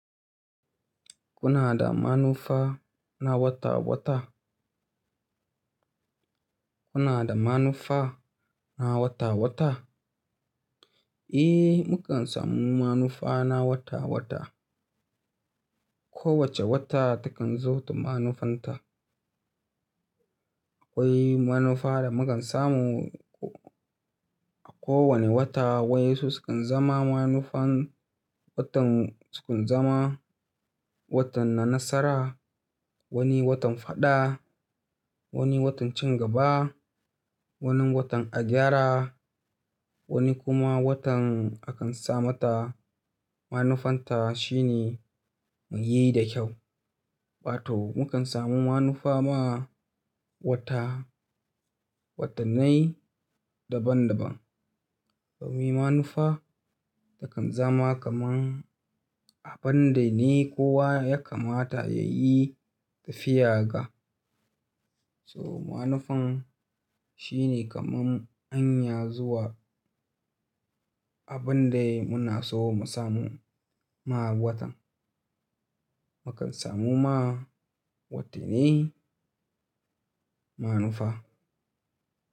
Kuna da manufa na wata-wata? Kuna da manufa na wata-wata? Eh, mukan samu manufa na wata-wata. Kowace wata takan zo da manufanta. Akwai manufa da mukan samu a kowane wata, wai su sukan zama manufan watan sukun zama, watan na nasara, wani watan faɗa, wani watan cin gaba, wani watan a gyara, wani kuma watan akan sa mata manufanta shine mu yi da kyau. Ɓato mukan samu manufa ma wata, watannai daban-daban. Domin manufa takan zama kaman abun da ni kowa ya kamata ya yi tafiya ga. So manufan shine kamar anya zuwa abun dai muna so mu samu ma watan. Mukan samu ma watannai manufa.